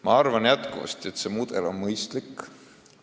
Ma arvan, et see mudel on mõistlik.